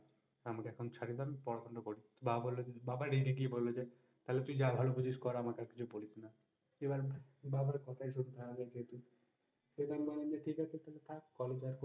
আমাকে একটু ছাড়িয়ে দাও আমি পড়াশোনা টা করি। বাবা রেগে গিয়ে বলল যে, তালে তুই যা ভালো বুঝিস তাই কর আমাকে আর কিছু বলিস না, এবার বাবার কোথায় শোনতে হবে যেহেতু সেই জন্যে আমি বললাম ঠিক আছে তাইলে থাক অবিচার,